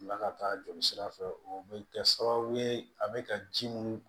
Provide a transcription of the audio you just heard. Bila ka taa jolisira fɛ o bɛ kɛ sababu ye a bɛ ka ji mun